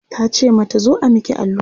tace mata "zo a Miki allura?